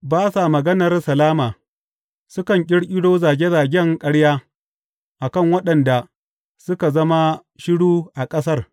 Ba sa maganar salama sukan ƙirƙiro zage zagen ƙarya a kan waɗanda suka zama shiru a ƙasar.